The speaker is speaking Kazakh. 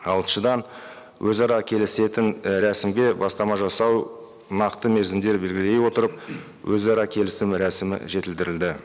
алтыншыдан өзара келісетін і рәсімге бастама жасау нақты мерзімдер белгілей отырып өзара келісім рәсімі жетілдірілді